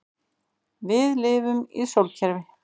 Við lifum í sólkerfi.